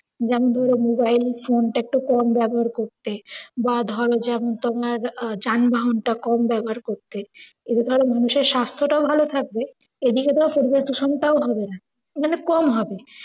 যেমন ধরো মোবাইল ফোনটা একটু কম ব্যাবহার করতে বা ধরো যেমন তোমার আহ যানবাহন টা কম ব্যাবহার করতে। এরফলে মানুষের স্বাস্থ্যটা ও ভালো থাকবে, এদিকে তোর পরিবেশ দূষণটা ও হবেনা। মানে কম হবে।